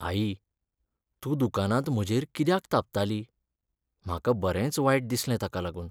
आई! तूं दुकानांत म्हजेर कित्याक तापताली? म्हाका बरेंच वायट दिसलें ताका लागून.